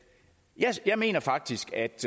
jeg mener faktisk at